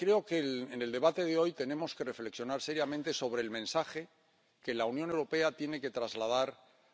Creo que en el debate de hoy tenemos que reflexionar seriamente sobre el mensaje que la Unión Europea tiene que trasladar